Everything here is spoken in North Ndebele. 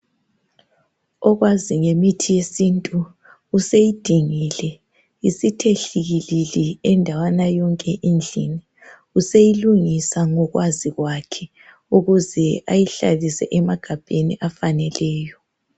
Okwazi ngemithi yesintu useyidingile isithe hlikilili indawana yonke endlini, useyilungisa ngokwazi kwakhe ukuze ayihlalise emagabheni afaneleyo